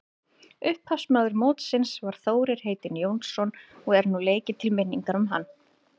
Upphafsmaður mótsins var Þórir heitinn Jónsson og er nú leikið til minningar um hann.